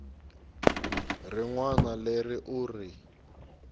rin wana leri u ri